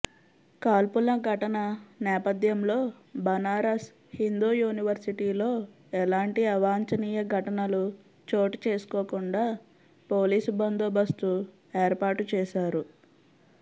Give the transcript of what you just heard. కాల్పుల ఘటన నేపథ్యంలో బనారస్ హిందూ యూనివర్సిటీలో ఎలాంటి అవాంఛనీయ ఘటనలు చోటు చేసుకోకుండా పోలీసు బందోబస్తు ఏర్పాటు చేశారు